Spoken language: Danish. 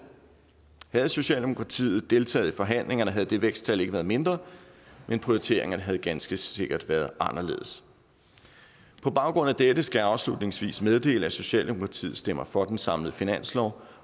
havde socialdemokratiet deltaget i forhandlingerne havde det væksttal ikke været mindre men prioriteringerne havde ganske sikkert være anderledes på baggrund af dette skal jeg afslutningsvis meddele at socialdemokratiet stemmer for den samlede finanslov